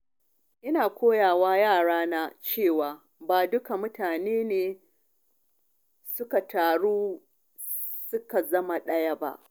Ina ƙoƙarin koya wa yarana cewa ba dukkan mutane ne suka taru suka zama ɗaya ba.